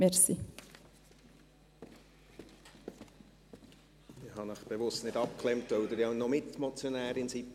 Ich habe Sie bewusst nicht abgeklemmt, weil Sie beim zweiten Vorstoss auch noch Mitmotionärin sind.